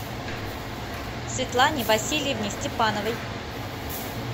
светлане васильевне степановой